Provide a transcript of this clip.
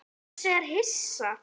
Bjössi er hissa.